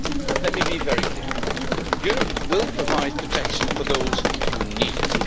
Let me be very clear Europe will provide protection for those who need it.